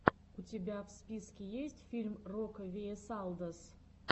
у тебя в списке есть фильм рокавиэсалдос